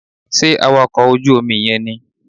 Sé awakọ̀ ojú Omi yen nì